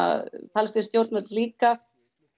palestínsk stjórnvöld líka